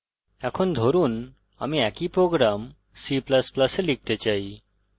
এখন ধরুন আমি একই program c ++ এ লিখতে চাই